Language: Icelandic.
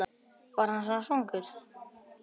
Var hann svona svangur?